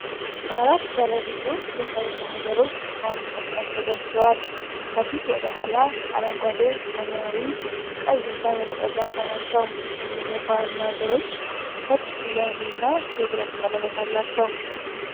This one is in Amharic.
አራት ባለብዙ ቀለም የፋይል ማህደሮች በአንድ መስመር ተደርድረዋል። ከፊት ወደ ኋላ አረንጓዴ፣ ሰማያዊ፣ ቀይ እና ወይንጠጃማ ናቸው። ሁሉም የፋይል ማህደሮች ነጭ ስያሜ እና የብረት ቀለበት አላቸው።